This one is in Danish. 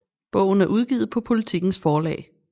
Bogen er udgivet på Politikens Forlag